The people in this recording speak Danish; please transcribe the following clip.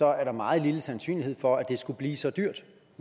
er der meget lille sandsynlighed for at det skulle blive så dyrt